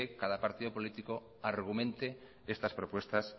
cada partido político argumente estas propuestas